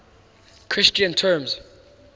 christian terms